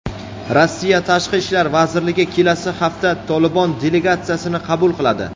Rossiya Tashqi ishlar vazirligi kelasi hafta "Tolibon" delegatsiyasini qabul qiladi.